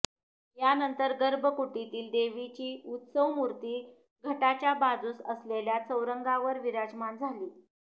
यानंतर गर्भकुटीतील देवीची उत्सवमूर्ती घटाच्या बाजूस असलेल्या चौरंगावर विराजमान झाली